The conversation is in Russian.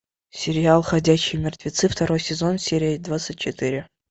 сериал ходячие мертвецы второй сезон серия двадцать четыре